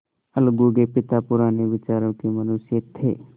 अलगू के पिता पुराने विचारों के मनुष्य थे